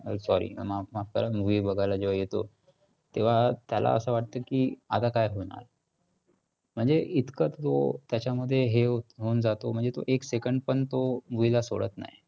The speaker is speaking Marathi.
sorry माफ माफ करा, movie बघायला ज्यावेळी येतो तेव्हा त्याला असं वाटतं की आता काय होणार? म्हणजे इतकं तो त्याच्यामध्ये हे होऊन जातो म्हणजे तो एक second पण तो movie ला सोडत नाही.